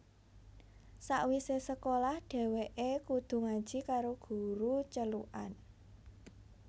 Sawise sekolah dheweke kudu ngaji karo guru celukan